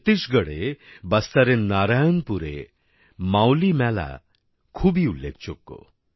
ছত্তিশগড়ে বাস্তারের নারায়নপুরে মাওলি মেলা নামে খুবই উল্লেখযোগ্য